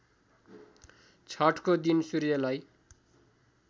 छठको दिन सूर्यलाई